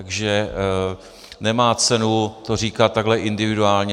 Takže nemá cenu to říkat takhle individuálně.